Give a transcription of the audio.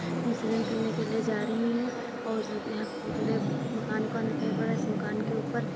विसर्जन करने के लिया जा रही हैं और यहाँ उधड़े मकान-वकान दिखाई पड़ रहे हैं। इस मकान के ऊपर --